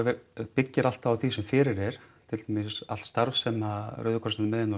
byggir alltaf á því sem fyrir er til dæmis allt starf sem Rauði krossinn er með inni á